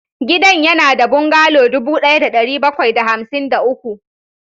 Gidan yana da bungalow dubu ɗaya da ɗari bakwai da hamsin da uku